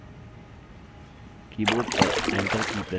keyboard पर enter की press करें